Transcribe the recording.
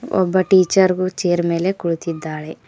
ಒಬ್ಬ ಟೀಚರ್ ಗೂ ಚೇರ್ ಮೇಲೆ ಕುಳಿತಿದ್ದಾಳೆ.